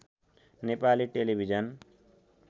Nepali television